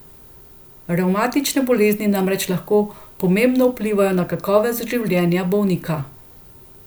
Revmatične bolezni namreč lahko pomembno vplivajo na kakovost življenja bolnika.